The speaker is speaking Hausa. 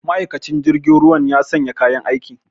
Ma'aikacin jirgin ruwan ya sanya kayan aiki